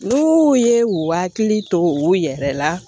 N'u ye u hakili to u yɛrɛ la